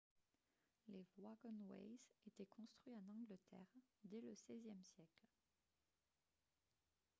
les « wagonways » étaient construits en angleterre dès le xvième siècle